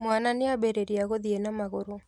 Mwana nĩambĩrĩria gũthiĩ na magũrũ